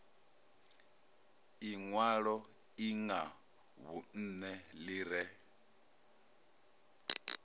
inwalo lṅa vhunṋe ḽi re